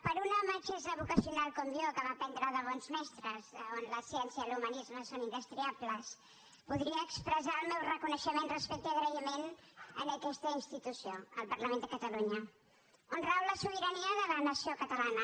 per una metgessa vocacional com jo que va aprendre de bons mestres on la ciència i l’humanisme són indestriables voldria expressar el meu reconeixement respecte i agraïment a aquesta institució al parlament de catalunya on rau la sobirania de la nació catalana